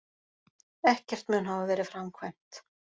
Ekkert mun hafa verið framkvæmt